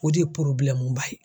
O de ye ba ye.